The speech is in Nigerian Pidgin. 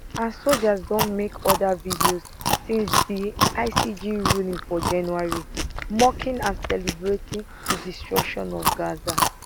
and soldiers don make oda videos since di icj ruling for january mocking and celebrating di destruction of gaza